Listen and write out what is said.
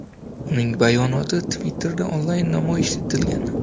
Uning bayonoti Twitter’da onlayn namoyish etilgan.